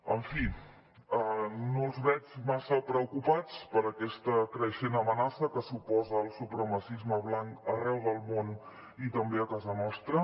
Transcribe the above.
en fi no els veig massa preocupats per aquesta creixent amenaça que suposa el supremacisme blanc arreu del món i també a casa nostra